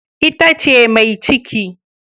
Ita ce mai ciki.